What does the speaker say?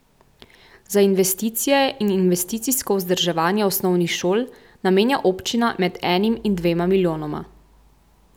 Za investicije in investicijsko vzdrževanje osnovnih šol namenja občina med enim in dvema milijonoma.